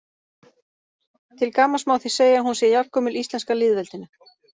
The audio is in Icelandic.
Til gamans má því segja að hún sé jafngömul íslenska lýðveldinu.